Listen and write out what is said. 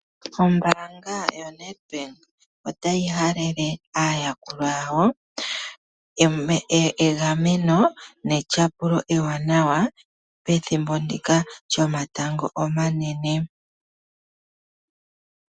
Ombanga yoNedbank otayi halele aayakulwa yawo egameno netyapulo eewanawa pethimbo ndika lyomatango omanene.